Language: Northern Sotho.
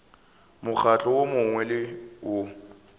mokgatlo wo mongwe le wo